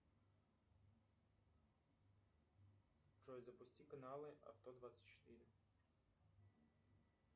джой запусти каналы авто двадцать четыре